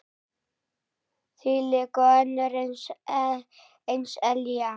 Þvílík og önnur eins elja.